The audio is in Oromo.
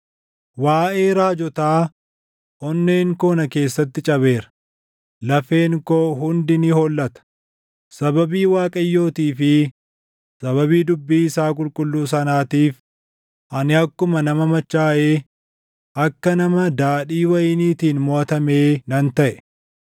Waaʼee raajotaa, onneen koo na keessatti cabeera, lafeen koo hundi ni hollata; sababii Waaqayyootii fi sababii dubbii isaa qulqulluu sanaatiif ani akkuma nama machaaʼee akka nama daadhii wayiniitiin moʼatamee nan taʼe.